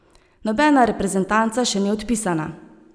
Nobena reprezentanca še ni odpisana.